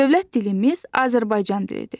Dövlət dilimiz Azərbaycan dilidir.